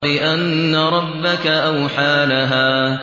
بِأَنَّ رَبَّكَ أَوْحَىٰ لَهَا